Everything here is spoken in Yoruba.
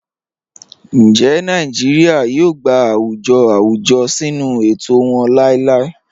Ńjẹ́ Nàìjíríà yóò gbà àwùjọ̀ àwùjọ̀ sínu ètò wọn làìlàì?"